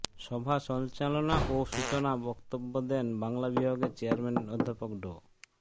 সভা সঞ্চালনা ও সূচনা বক্তব্য দেন বাংলা বিভাগের চেয়ারম্যান অধ্যাপক ড